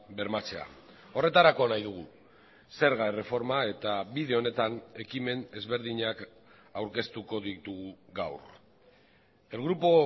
bermatzea horretarako nahi dugu zerga erreforma eta bide honetan ekimen ezberdinak aurkeztuko ditugu gaur el grupo